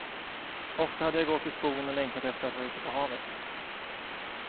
Ofta hade jag gått i skogen och längtat efter att vara ute på havet.